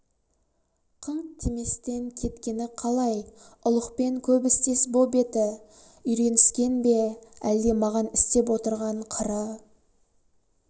қынқ деместен кеткені қалай ұлықпен көп істес боп еті үйреніскен бе әлде маған істеп отырған қыры